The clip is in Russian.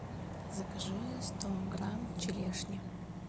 закажи сто грамм черешни